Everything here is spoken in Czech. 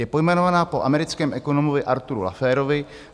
Je pojmenovaná po americkém ekonomovi Arthuru Lafferovi.